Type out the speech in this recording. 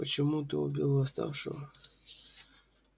почему ты убил восставшего